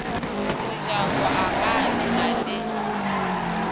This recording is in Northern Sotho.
mojako agaa le na le